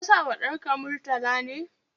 Ka sa wa ɗanka Murtala ne?